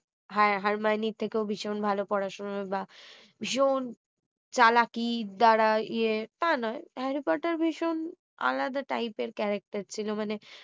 হা~ হারমাইনীর থেকেও ভীষণ ভালো পড়াশোনা বা ভীষণ চালাকির দ্বারা ইয়ে তা নয় হ্যারি পটার ভীষণ আলাদা type এর character ছিল মানে